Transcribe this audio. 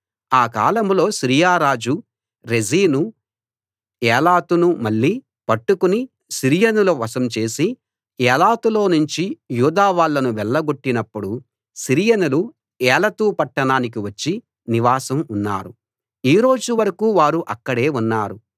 ఆ కాలంలో సిరియా రాజు రెజీను ఏలతును మళ్ళీ పట్టుకుని సిరియనుల వశం చేసి ఏలతులోనుంచి యూదా వాళ్ళను వెళ్లగొట్టినప్పుడు సిరియనులు ఏలతు పట్టణానికి వచ్చి నివాసం ఉన్నారు ఈ రోజు వరకూ వారు అక్కడే ఉన్నారు